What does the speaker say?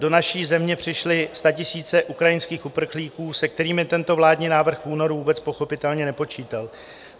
Do naší země přišly statisíce ukrajinských uprchlíků, se kterými tento vládní návrh v únoru vůbec pochopitelně nepočítal.